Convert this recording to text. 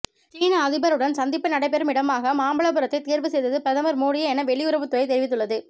சீன அதிபருடன் சந்திப்பு நடைபெறும் இடமாக மாமல்லபுரத்தை தேர்வு செய்தது பிரதமர் மோடியே என வெளியுறவுத்துறை தெரிவித்துள்ளது